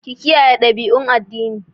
Kiyaye dabi'u da dabi'u na addini